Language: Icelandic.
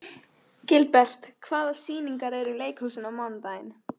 Gilbert, hvaða sýningar eru í leikhúsinu á mánudaginn?